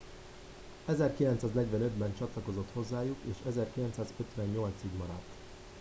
1945 ben csatlakozott hozzájuk és 1958 ig maradt